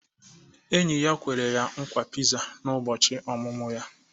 Enyi ya kwere ya nkwa Pizza na ụbọchị ọmụmụ ya.